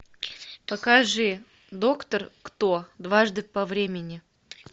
покажи доктор кто дважды по времени